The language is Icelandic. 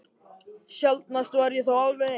Sjaldnast var ég þó alveg ein.